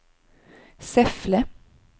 Säffle